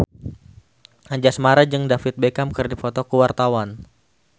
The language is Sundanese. Anjasmara jeung David Beckham keur dipoto ku wartawan